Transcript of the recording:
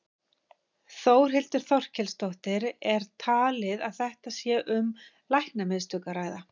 Þórhildur Þorkelsdóttir: Er talið að þetta sé um læknamistök að ræða?